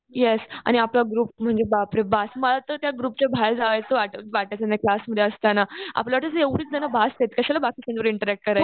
Yes आणि आपला group म्हणजे बापरे बस मला तर त्या ग्रुपच्या बाहेर जावं असं वाटायचं नाही क्लासमध्ये असताना. आपल्याला वाटायचं एवढीच जणं बस आहेत. कशाला बाकीच्यांबरोबर इंटरॅक्ट करायचंय.